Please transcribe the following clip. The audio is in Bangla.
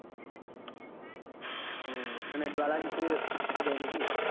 ওহ ওখান dollar হিসেবে দেয় নাকি?